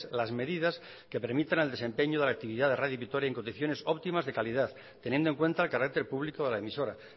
las medidas que permitan el desempeño de la actividad de radio vitoria en condiciones optimas de calidad teniendo en cuenta el carácter público de la emisora